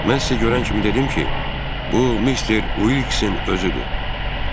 Mən sizə görən kimi dedim ki, bu Mister Uliksin özüdür.